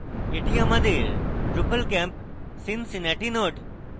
এটি আমাদের drupalcamp cincinnati node